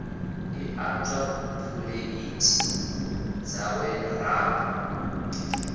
ḓi ṱanzwa phuleithi dzawe rambo